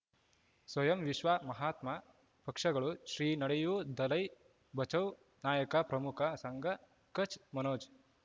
ಸ್ವಯಂ ವಿಶ್ವ ಮಹಾತ್ಮ ಪಕ್ಷಗಳು ಶ್ರೀ ನಡೆಯೂ ದಲೈ ಬಚೌ ನಾಯಕ ಪ್ರಮುಖ ಸಂಘ ಕಚ್ ಮನೋಜ್